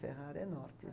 Ferrara é norte.